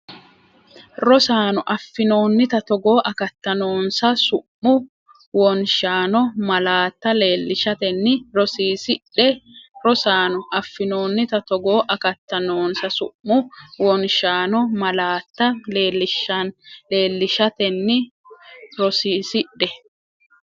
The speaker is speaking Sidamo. Rosaano, affinoonnita togoo akatta noonsa su’mu wonshaano malaatta leellishatenni rosiisidhe Rosaano, affinoonnita togoo akatta noonsa su’mu wonshaano malaatta leellishatenni rosiisidhe.